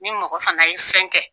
Ni mɔgɔ fana ye fɛn kɛ